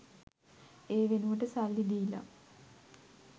ඒ වෙනුවට සල්ලි දීලා